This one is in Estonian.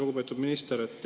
Lugupeetud minister!